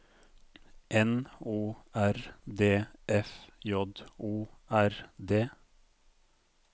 N O R D F J O R D